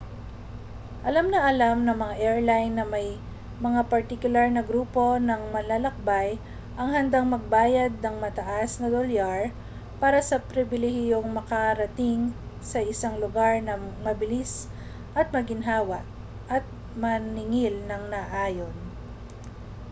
alam na alam ng mga airline na may mga partikular na grupo ng manlalakbay ang handang magbayad ng mataas na dolyar para sa pribilehiyong makarating sa isang lugar nang mabilis at maginhawa at maningil nang naaayon